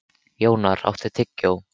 Jónar, áttu tyggjó?